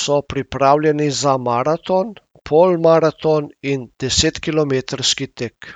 so pripravljeni za maraton, polmaraton in desetkilometrski tek.